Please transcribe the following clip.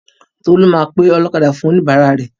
Tolú máa ọlọ́kadà fún oníbàárà rẹ̀.